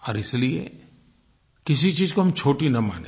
और इसलिए किसी चीज़ को हम छोटी न मानें